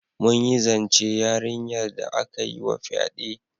Mun yi zance yarinyar da aka yi wa fyade.